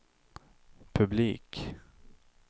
publik